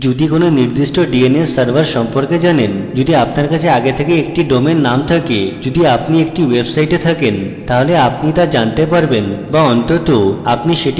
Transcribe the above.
আপনি যদি কোনো নির্দিষ্ট dns server সম্পর্কে জানেন যদি আপনার কাছে আগে থেকেই একটি domain name থাকে যদি আপনার একটি website থাকে তাহলে আপনি তা জানতে পারবেন be অন্তত আপনি সেটি খুঁজে পেতে সক্ষম হবেন